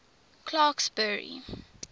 clarksburry